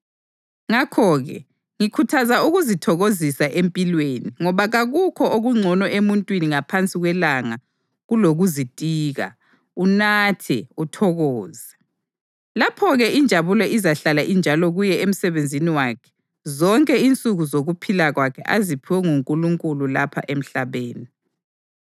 Ngakho-ke ngikhuthaza ukuzithokozisa empilweni ngoba kakukho okungcono emuntwini ngaphansi kwelanga kulokuzitika, unathe, uthokoze. Lapho-ke injabulo izahlala injalo kuye emsebenzini wakhe zonke insuku zokuphila kwakhe aziphiwe nguNkulunkulu lapha emhlabeni.